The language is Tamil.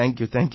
தேங்க்யூ